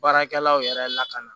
Baarakɛlaw yɛrɛ lakana